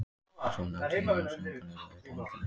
Svonefndir mansöngvar eru eitt einkenni rímna.